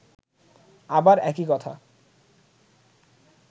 আবার একই কথা